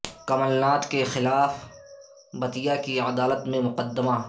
کمل ناتھ کے خلاف بتیا کی عدالت میں مقدمہ